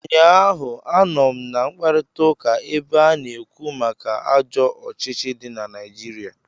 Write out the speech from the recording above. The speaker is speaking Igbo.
Ụnyaahụ, anọ m na mkparịtaụka ebe a na-ekwu maka ajọ ọchịchị dị na Naijiria